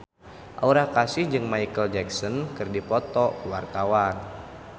Aura Kasih jeung Micheal Jackson keur dipoto ku wartawan